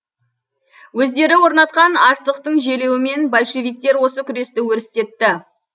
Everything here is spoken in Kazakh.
өздері орнатқан аштықтың желеуімен большевиктер осы күресті өрістетті